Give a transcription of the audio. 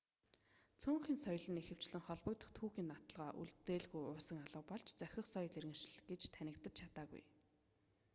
цөөнхийн соёл нь ихэвчлэн холбогдох түүхийн нотолгоо үлдээлгүй уусан алга болж зохих соёл иргэншил гэж танигдаж чаддаггүй